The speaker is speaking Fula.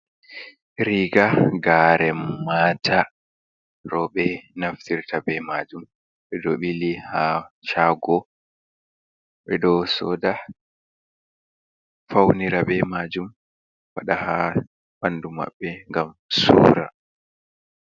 Riga garen mata. Rowɓe naftirta be maajum, ɓe ɗo ɓili ha shaago. Ɓe ɗo soda faunira be maajum, waɗa haa ɓandu maɓɓe, ngam suura.